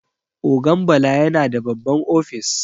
Ogan Bala yana da babban ofis.